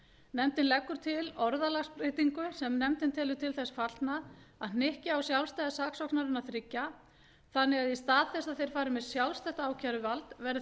nefndin leggur til orðalagsbreytingu sem nefndin telur til þess fallna að hnykkja á sjálfstæði saksóknaranna þriggja þannig að í stað þess að þeir fari með sjálfstætt ákæruvald verði